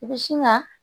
I bɛ sin ka